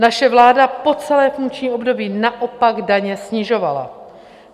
Naše vláda po celé funkční období naopak daně snižovala.